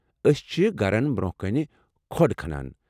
ٲسۍ چھِ گھرن برونٛہہ کٔنۍ کھوٚڑ کھنان۔